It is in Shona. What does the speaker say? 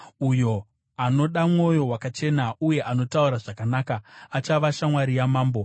Uyo anoda mwoyo wakachena uye anotaura zvakanaka, achava shamwari yamambo.